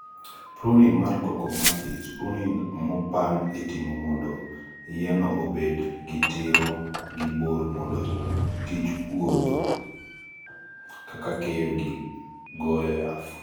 pruning mar cocoa mathis, pruning mopang itimo mondo yienno obed gi tiro gi borr mondo tij puodho (kaka keyo gi goyo yath)